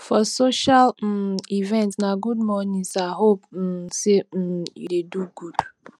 for social um event na good morning sir hope um say um you dey do good